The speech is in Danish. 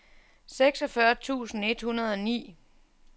seksogfyrre tusind et hundrede og ni